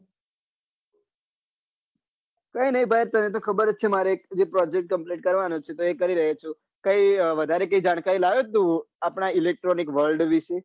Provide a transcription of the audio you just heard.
કઈ ની ભાઈ તને તો ખબર જ છે મારે project complete કરવાનો છે તો એ કરી રહયો છું કઈ વઘારે જાણકારી લાવિયો છે આપના electronic world વિષે.